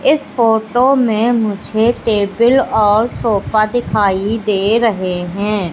इस फोटो में मुझे टेबील और सोफ़ा दिखाई दे रहे है।